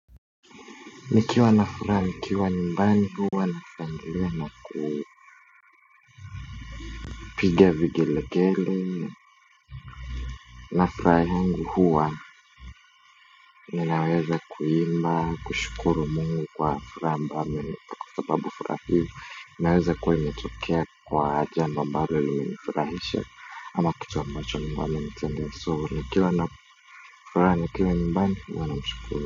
Nikiwa na furaha nikiwa nyumbani huwa nashangilia na kupiga vigelegele na furaha yangu huwa ninaweza kuimba kushukuru mungu kwa furaha ambayo amenipa kwa sababu furaha hio ininaweza kuwa imeitokea kwa jambo ambalo limenifurahisha ama kitu ambacho Mungu amenitendea so nikiwa na furaha nikiwa nyumbani huwa namshukuru.